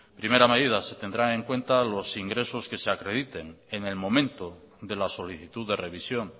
primera medida se tendrá en cuenta los ingresos que se acrediten en el momento de la solicitud de revisión